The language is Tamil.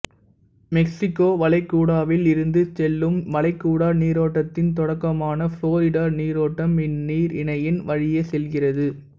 மெக்சிக்கோ வளைகுடாவில் இருந்து செல்லும் வளைகுடா நீரோட்டத்தின் தொடக்கமான புளோரிடா நீரோட்டம் இந்நீரிணையின் வழியே செல்கின்றது